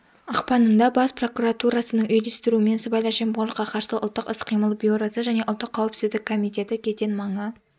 ақпанында бас прокуратурасының үйлестіруімен сыбайлас жемқорлыққа қарсы ұлттық іс-қимыл бюросы және ұлттық қауіпсіздік комитеті кеден маңы